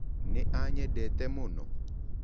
Nĩ anyendete mũno?